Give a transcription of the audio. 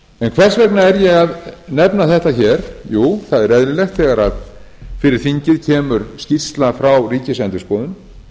en hvers vegna er ég að nefna þetta hér jú það er eðlilegt þegar fyrir þingið kemur skýrsla frá ríkisendurskoðun